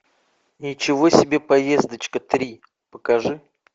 ничего себе поездочка три покажи